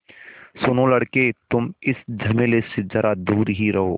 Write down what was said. सुनो लड़के तुम इस झमेले से ज़रा दूर ही रहो